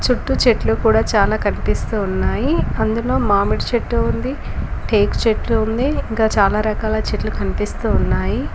చుట్టూ చెట్లు కూడా చాలా కనిపిస్తూ ఉన్నాయి అందులో మామిడి చెట్టు ఉంది టేక్ చెట్లు ఉంది ఇంకా చాలా రకాల చెట్లు కనిపిస్తూ ఉన్నాయి.